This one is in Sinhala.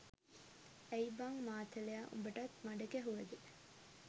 ඇයි බං මාතලයා උඹටත් මඩ ගැහුවද